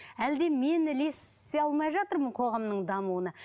әлде мен ілесе алмай жатырмын қоғамның дамуына